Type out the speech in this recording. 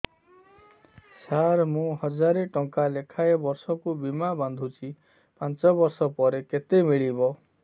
ସାର ମୁଁ ହଜାରେ ଟଂକା ଲେଖାଏଁ ବର୍ଷକୁ ବୀମା ବାଂଧୁଛି ପାଞ୍ଚ ବର୍ଷ ପରେ କେତେ ମିଳିବ